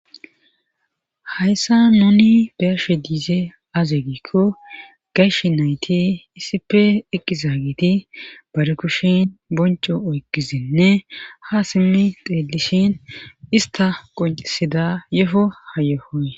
Hayssa nuni be'ashshe diizay aze gikko gashshe nayti iisippe eqqizaageti baa kushshen boncoo oykkidnne haa simmdi xeelishshin istta qoncisidda yohoo haa yohee